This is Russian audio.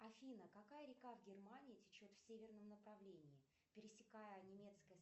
афина какая река в германии течет в северном направлении пересекая немецкое